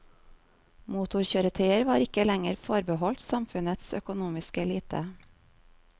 Motorkjøretøyer var ikke lenger forbeholdt samfunnets økonomiske elite.